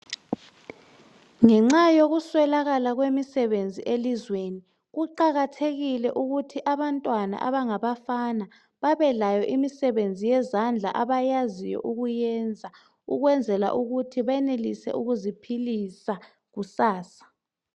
Ngenxa yokuswelakala kwemisebenzi elizweni ,kuqakathekile ukuthi abantwana abangabafana babelayo imisebenzi yezandla abayaziyo ukuyenza ukwenzela ukuthi benelise ukuziphilisa kusasa.